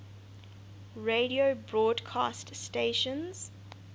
radio broadcast stations